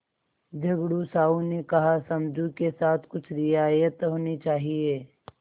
झगड़ू साहु ने कहासमझू के साथ कुछ रियायत होनी चाहिए